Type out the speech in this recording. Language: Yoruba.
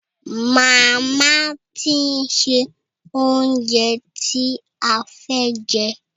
Màmá ti ń se oúnjẹ ti a fẹ́ jẹ.